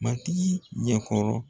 Matigi ɲɛkɔrɔ.